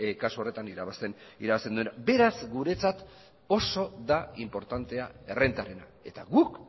kasu horretan irabazten duena beraz guretzat oso da inportantea errentarena eta guk